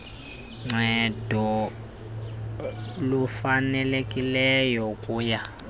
ncedo lufanelekileyo ukuya